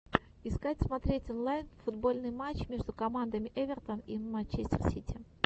искать смотреть онлайн футбольный матч между командами эвертон и манчестер сити